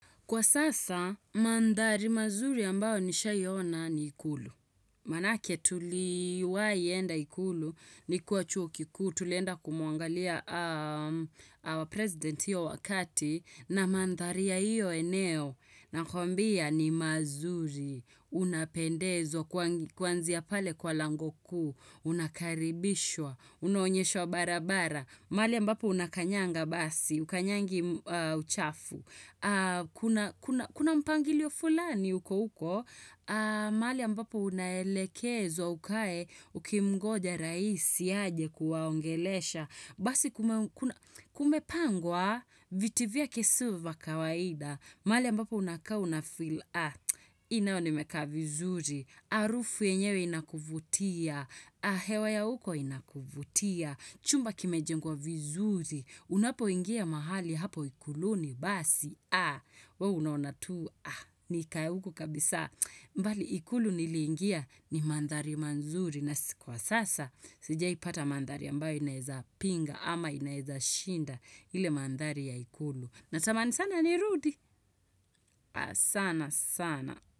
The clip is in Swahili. Kwa sasa, mandhari mazuri ambayo nishai ona ni ikulu. Maanake tuliwahi enda ikulu nikiwa chuo kikuu, tulienda kumuangalia our president hiyo wakati na mandhari ya hiyo eneo. Na kwambia ni mazuri, unapendezwa, kwanzia pale kwa lango kuu, unakaribishwa, unaonyeshwa barabara. Mahali mbapo unakanyanga basi, hukanyangi uchafu. Kuna mpangilio fulani uko uko, mahali mbapo unaelekezwa ukae ukimngoja raisi aje kuwaongelesha. Basi kumepangwa, viti vyake sivyo vya kawaida, mahali ambapo unakaa una feel Hii nayo nimekaa vizuri, Harufu yenyewe inakuvutia, hewa ya huko inakuvutia, chumba kimejengwa vizuri, unapo ingia mahali hapo ikuluni basi, we unaona tu, nikae huku kabisa. Mbali ikulu nilingia ni mandhari mazuri na sikuwa kwa sasa sijawahi pata mandhari ambayo inaeza pinga ama inaeza shinda ile mandhari ya ikulu. Natamani sana ni rudi. Sana sana.